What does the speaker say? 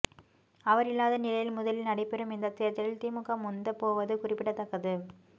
அவர் இல்லாத நிலையில் முதலில் நடைபெறும் இந்த தேர்தலில் திமுக முந்தப் போவது குறிப்பிடத்தக்கது